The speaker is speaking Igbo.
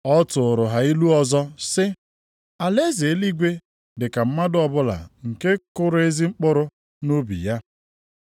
Ọ tụụrụ ha ilu ọzọ sị, “Alaeze eluigwe dị ka mmadụ ọbụla nke kụrụ ezi mkpụrụ + 13:24 Ezi mkpụrụ bụ Oziọma ahụ. nʼubi ya.